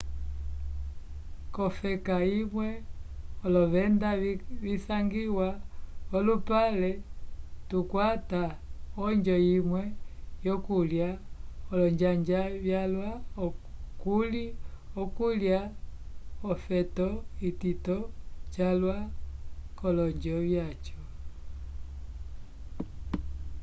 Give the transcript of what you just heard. k'olofeka vimwe olovenda visangiwa v'olupale tukwata onjo imwe yokulya olonjanja vyalwa kuli okulya l'ofeto itito calwa k'olonjo vyaco